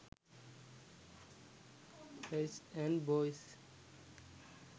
guys and boys